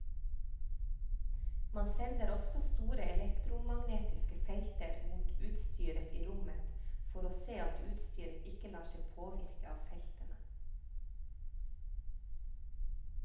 Man sender også store elektromagnetiske felter mot utstyret i rommet for å se at utstyret ikke lar seg påvirke av feltene.